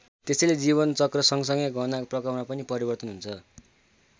त्यसैले जीवनचक्र सँगसँगै गहनाको प्रकारमा पनि परिवर्तन हुन्छ।